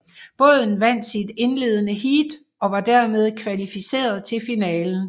Båden vandt sit indledende heat og var dermed kvalificeret til finalen